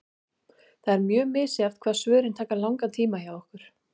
Það er mjög misjafnt hvað svörin taka langan tíma hjá okkur.